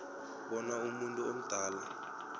bona umuntu omdala